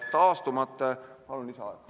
Palun lisaaega!